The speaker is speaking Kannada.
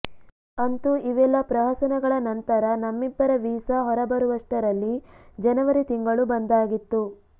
ಅಂತೂ ಇವೆಲ್ಲಾ ಪ್ರಹಸನಗಳ ನಂತರ ನಮ್ಮಿಬ್ಬರ ವೀಸಾ ಹೊರಬರುವಷ್ಟರಲ್ಲಿ ಜನವರಿ ತಿಂಗಳು ಬಂದಾಗಿತ್ತು